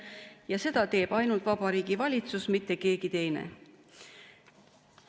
Seda ainult Vabariigi Valitsus, mitte keegi teine.